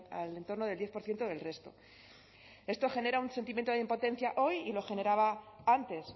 al entorno del diez por ciento del resto esto genera un sentimiento de impotencia hoy y lo generaba antes